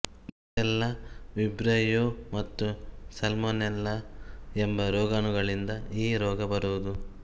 Brucella Vibrio ಮತ್ತು Salmonella ಎಂಬ ರೋಗಾಣುಗಳಿಂದ ಈ ರೋಗ ಬರುವುದು